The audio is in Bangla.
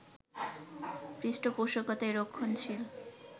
পৃষ্ঠপোষকতায় রক্ষণশীল